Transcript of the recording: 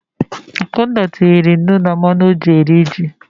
Akunna tiri nnu na mmanụ ọ ji rie ji.